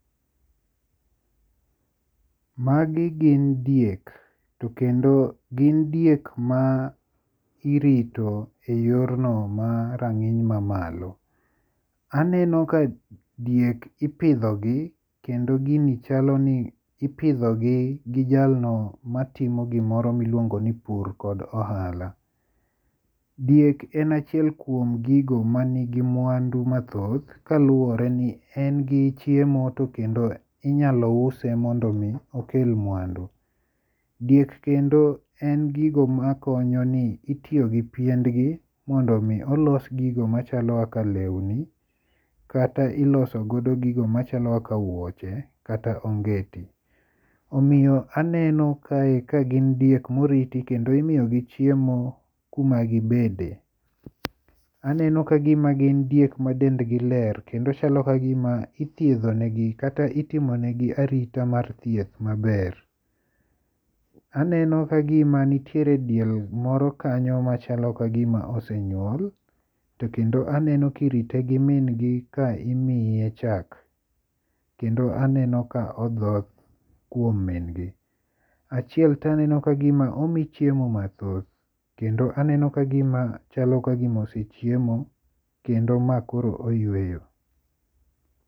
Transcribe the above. Magi gin diek. To kendo gin diek ma irito e yorno marang'iny mamalo. Aneno ka diek ipidho gi kendo gini chalo ni ipidho gi gi jalno matimo gimoro miluongo ni pur kod ohala. Diek en achiel kuom gigo man gi mwandu mathoth kaluwore ni en gi chiemo to kendo inyalo use mondo mi okel mwandu. Diek kendo en gigo makonyo ni itiyo gi piendgi mondo mi olos gigo machalo kaka lewni kata ilosogodo gigo machalo kaka wuoche kata ongeti. Omiyo aneno kae ka gin diek moriti kendo imiyo gi chiemo kuma gibede. Aneno ka gima gin diek ma dend gi ler kendo chalo kagima ithiedho ne gi kata itimonegi arita mar thieth maber. Aneno kagima nitiere diel moro kanyo machalo kagima osenyuol. To kendo aneno kirite gi min gi ka imiye chak. Kendo aneno ka odhoth kuom min gi. Achiel to aneno ka gima omi chiemo mathoth kendo aneno kagima chalo kagima osechiemo kendo ma koro oyueyo.